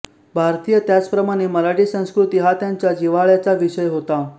भारतीय त्याचप्रमाणे मराठी संस्कृती हा त्यांच्या जिव्हाळ्याचा विषय होता